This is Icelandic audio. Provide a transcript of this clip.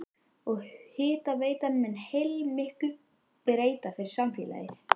Og hitaveitan mun heilmiklu breyta fyrir samfélagið?